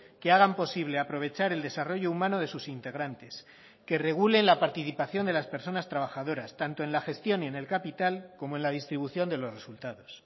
que hagan posible aprovechar el desarrollo humano de sus integrantes que regulen la participación de las personas trabajadoras tanto en la gestión y en el capital como en la distribución de los resultados